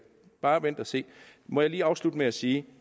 bare vent og se må jeg lige afslutte med at sige